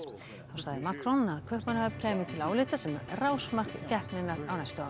þá sagði Macron að Kaupmannahöfn kæmi til álita sem rásmark keppninnar á næstu árum